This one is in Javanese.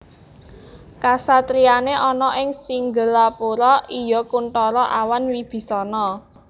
Kasatriyané ana ing Singgelapura iya Kunthara awan Wibisana